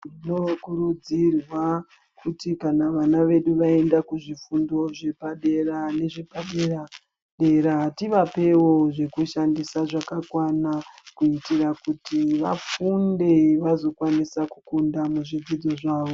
Munokuridzirwa kuti kana vana venyu vaenda kuzvifundo zvepadera nezvepadera dera tivapewo zvekushandisa zvakakwana kuitira kuti vafunde vazokwanisa kukunda muzvidzidzo zvavo.